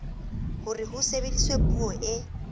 hore ho sebediswe puo e